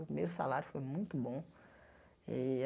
O meu salário foi muito bom e a.